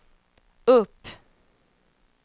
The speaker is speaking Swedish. upp